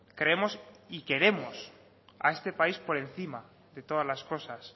creemos y queremos a este país por encima de todas las cosas